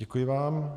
Děkuji vám.